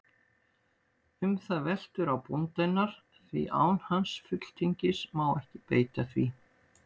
Um það veltur á bónda hennar, því án hans fulltingis má ekki beita því.